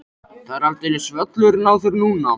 Það er aldeilis völlurinn á þér núna!